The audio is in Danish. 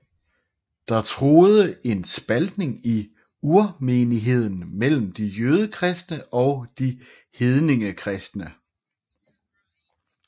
Der truede en spaltning i urmenigheden mellem de jødekristne og de hedningekristne